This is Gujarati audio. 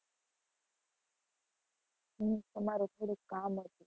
અમ અમારે થોડું કામ હતું.